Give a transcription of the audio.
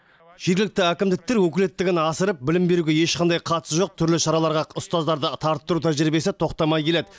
жергілікті әкімдіктер өкілеттігін асырып білім беруге ешқандай қатысы жоқ түрлі шараларға ұстаздарды тарттыру тәжірибесі тоқтамай келеді